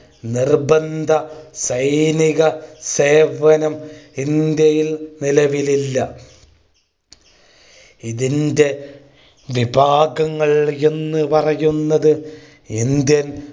നിർബന്ധ സൈനിക സേവനം ഇന്ത്യയിൽ നിലവിലില്ല. ഇതിന്റെ വിഭാഗങ്ങൾ എന്ന് പറയുന്നത് Indian